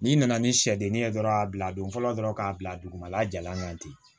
N'i nana ni sɛdennin ye dɔrɔn a bila don fɔlɔ dɔrɔn k'a bila dugumala jalan kan ten